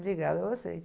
Obrigada a vocês.